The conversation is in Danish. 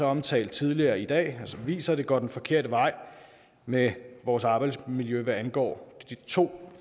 omtalt tidligere i dag som viser at det går den forkerte vej med vores arbejdsmiljø hvad angår to